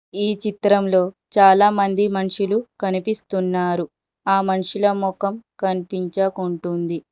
ఈ చిత్రంలో చాలా మంది మనుషులు కనిపిస్తున్నారు ఆ మనుషుల మొఖం కన్పించకుంటుంది.